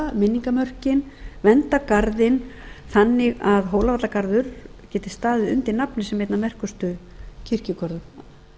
minningarmörkin vernda garðinn þannig að hólavallagarður geti staðið undir nafni sem einn af merkustu kirkjugörðum